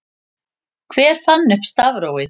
Hver fann upp stafrófið?